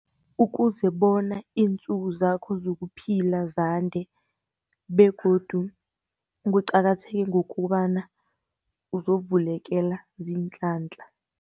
Ukuze bona iintsuku zakho zokuphila zande, begodu kuqakatheke ngokobana uzovulekela ziinhlanhla.